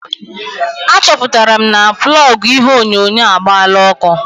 Achọpụtara m na plọgụ ihe onyonyo agbaala ọkụ.